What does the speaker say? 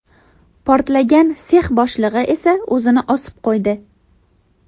Portlagan sex boshlig‘i esa o‘zini osib qo‘ydi .